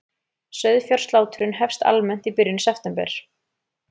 Sauðfjárslátrun hefst almennt í byrjun september